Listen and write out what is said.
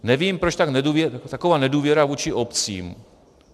Nevím, proč je taková nedůvěra vůči obcím.